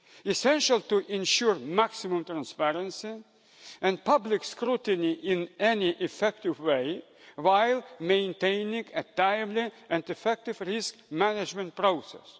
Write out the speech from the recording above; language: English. is essential to ensure maximum transparency and public scrutiny in an effective way, while maintaining a timely and effective risk management process.